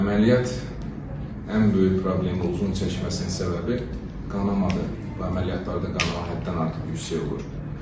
Əməliyyat ən böyük problemi uzun çəkməsinin səbəbi qanamadır, bu əməliyyatlarda qanama həddindən artıq yüksək olur.